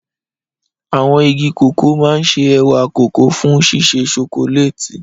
Àwọn igi cocoa máa ń ṣe ẹ̀wà kókà fún ṣíṣe ṣokoléètì.